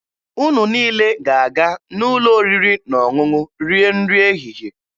Unu niile ga-aga n'ụlọ oriri na ọṅụṅụ rie nri ehihie.